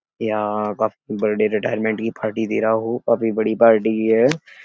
यहाँ पर birthday retirement की पार्टी दे रहा हूँ। काफी बड़ी पार्टी है।